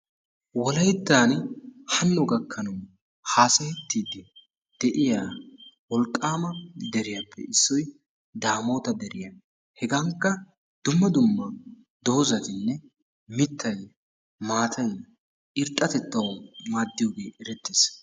Wolayttan hanno gakkanawu haasayettiiddi de"iya wolqqaama deriyappe issoy daamoota deriya. Hegankka dumma dumma doozatinne mittayi, maatayi irxxatettawu maaddiyogee eretees.